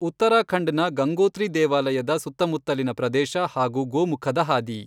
ಉತ್ತರಾಖಂಡ್ ನ ಗಂಗೋತ್ರಿ ದೇವಾಲಯದ ಸುತ್ತಮುತ್ತಲಿನ ಪ್ರದೇಶ ಹಾಗೂ ಗೋಮುಖದ ಹಾದಿ.